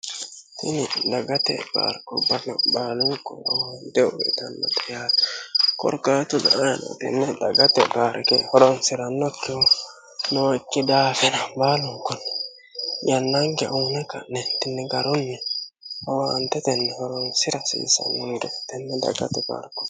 Tini dagate paarke balo baalu komonte uweetanno xa yate korqatu da aanotinne dagate baarike horonsi'rannokkehu nookki daafira baalun kunni yannanke uune ka'nettinni garoyyi howaantetenni horonsira hasiisanno tenne dagate paarko